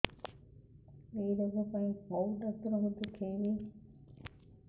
ଏଇ ରୋଗ ପାଇଁ କଉ ଡ଼ାକ୍ତର ଙ୍କୁ ଦେଖେଇବି